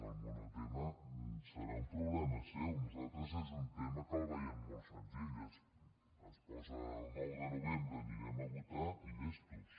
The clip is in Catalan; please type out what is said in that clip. el monotema deu ser un problema seu nosaltres és un tema que el veiem molt senzill es posa el nou de novembre anirem a votar i llestos